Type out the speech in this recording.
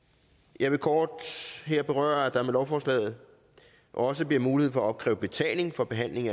jeg vil kort her berøre at der med lovforslaget også bliver mulighed for at opkræve betaling for behandling